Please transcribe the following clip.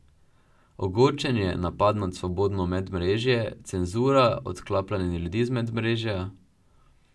Ogorčenje, napad na svobodno medmrežje, cenzura, odklapljanje ljudi z medmrežja ...